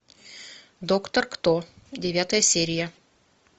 доктор кто девятая серия